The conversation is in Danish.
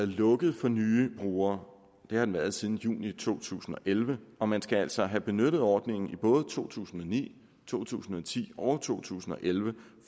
lukket for nye brugere det har den været siden juni to tusind og elleve og man skal altså have benyttet ordningen i både to tusind og ni to tusind og ti og to tusind og elleve